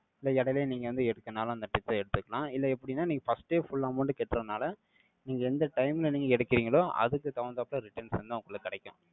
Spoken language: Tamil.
இல்லை, இடையிலேயே நீங்க வந்து, எடுத்தானாலும், அந்த trick ஐ எடுத்துக்கலாம். இல்லை, எப்படின்னா, நீங்க first ஏ, full amount கட்டுறதுனால, நீங்க எந்த time ல, நீங்க எடுக்குறீங்களோ, அதுக்கு தகுந்தாப்புல, returns வந்து, உங்களுக்கு கிடைக்கும்.